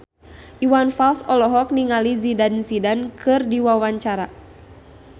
Iwan Fals olohok ningali Zidane Zidane keur diwawancara